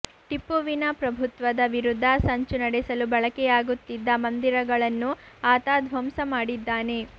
ಟಿಪ್ಪುವಿನ ಪ್ರಭುತ್ವದ ವಿರುದ್ಧ ಸಂಚು ನಡೆಸಲು ಬಳಕೆಯಾಗುತ್ತಿದ್ದ ಮಂದಿರಗಳನ್ನು ಆತ ಧ್ವಂಸ ಮಾಡಿದ್ದಾನೆ